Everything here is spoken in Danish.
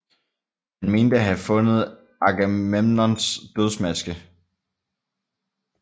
Han mente at have fundet Agamemnons dødsmaske